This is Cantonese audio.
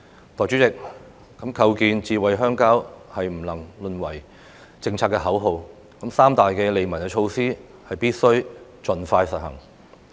代理主席，構建"智慧鄉郊"是不能淪為政策的口號，三大利民的措施必須盡快實行。